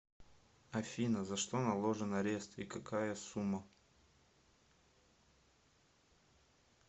афина за что наложен арест и какая сумма